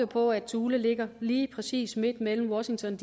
på at thule ligger lige præcis midt mellem washington